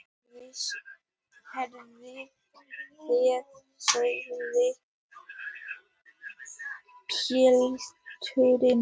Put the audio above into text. Heyrið þið, sagði pilturinn.